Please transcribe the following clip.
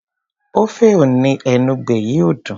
ofe enugbe yìí ò dùn.